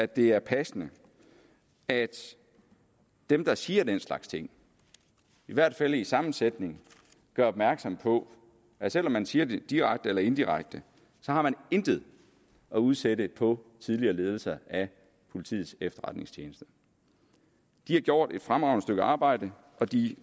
det er passende at dem der siger den slags ting i hvert fald i samme sætning gør opmærksom på at selv om man siger det direkte eller indirekte så har man intet at udsætte på tidligere ledelser af politiets efterretningstjeneste de har gjort et fremragende stykke arbejde og de